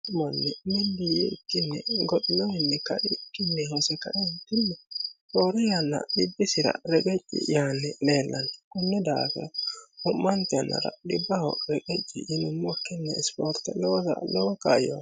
Mittu manni mili yiikini goxinowinni kaikkini hose kae'enitini roore yanna xibbisira reqecci Yaani leelano konni daafira Womanitte yannara xibbaho reqecci yinumokkini isiporitte loosa lowo kaayoti